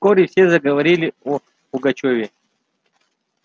вскоре все заговорили о пугачёве